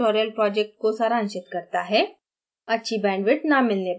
यह video spoken tutorial project को सारांशित करता है